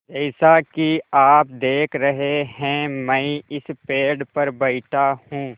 जैसा कि आप देख रहे हैं मैं इस पेड़ पर बैठा हूँ